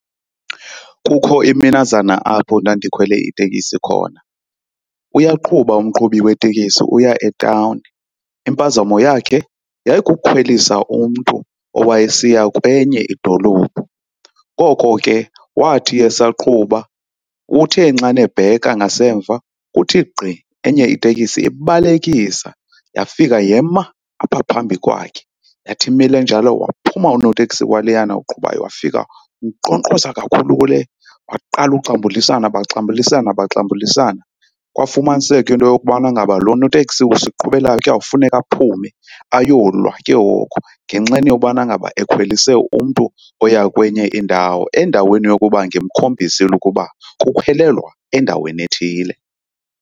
Kukho iminazana apho ndandikhwele itekisi khona. Uyaqhuba umqhubi wetekisi uya etawuni, impazamo yakhe yayikukhwelisa umntu owayesiya kwenye idolophu. Koko ke wathi esaqhuba, uthe xana ebheka ngasemva kuthi gqi enye itekisi ibalekisa yafika yema apha phambi kwakhe. Yathi imile njalo, waphuma unoteksi waleyana uqhubayo wafika wankqonkqoza kakhulu kule. Waqala uxambulisana, baxambulisana baxambulisana. Kwafumaniseka into yokubana ngaba lo noteksi usiqhubelayo kuyawufuneka aphume ayolwa ke ngoku ngenxeni yobana ngaba ekhwelise umntu oya kwenye indawo endaweni yokuba ngemkhombisile ukuba kukhwelelwa endaweni ethile.